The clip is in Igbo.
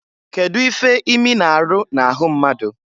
Kedu ife imi na-aru na-ahụ mmadu?